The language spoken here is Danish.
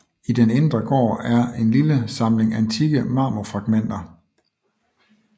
I den indre gård er en lille samling antikke marmorfragmenter